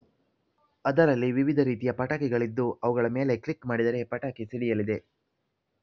ಅದರಲ್ಲಿ ವಿವಿಧ ರೀತಿಯ ಪಟಾಕಿಗಳಿದ್ದು ಅವುಗಳ ಮೇಲೆ ಕ್ಲಿಕ್‌ ಮಾಡಿದರೆ ಪಟಾಕಿ ಸಿಡಿಯಲಿದೆ